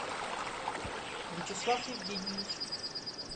вячеслав евгеньевич